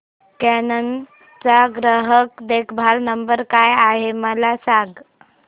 canon चा ग्राहक देखभाल नंबर काय आहे मला सांग